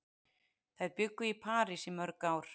Þær bjuggu í París í mörg ár.